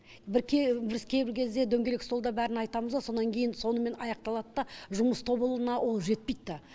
бір біз кейбір кезде дөңгелек столда бәрін айтамызғо сонан кейін сонымен аяқталады да жұмыс тобына ол жетпейді да